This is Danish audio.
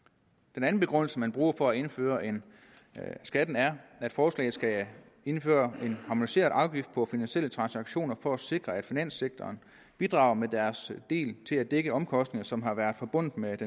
den anden begrundelse man bruger for at indføre skatten er at forslaget skal indføre en harmoniseret afgift på finansielle transaktioner for at sikre at finanssektoren bidrager med deres del til at dække omkostninger som har været forbundet med